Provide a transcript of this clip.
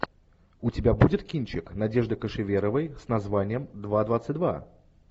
у тебя будет кинчик надежды кошеверовой с названием два двадцать два